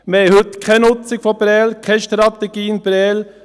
Wir haben heute keine Nutzung von Prêles, keine Strategie in Prêles.